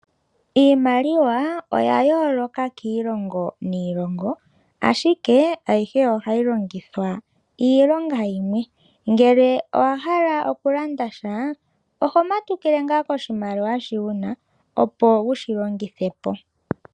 Iimaliwa oya yooloka kiilongo niilongo ashike ayihe ohayi longithwa iilonga yimwe ngele owa hala okulanda sha oho matukile ngaa koshimaliwa shi wuna opo wushi longithe po.